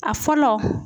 A fɔlɔ